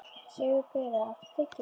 Sigurgeira, áttu tyggjó?